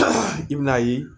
I bɛn'a ye